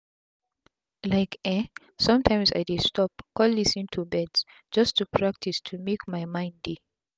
like eh somtims i dey stop con lis ten to birds just to practice to mak my mind dey.